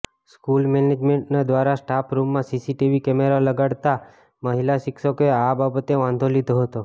school management દ્વારા staff રૂમમાં CCTV camera લગાડાતા મહિલા શિક્ષકોએ આ બાબતે વાંધો લીધો હતો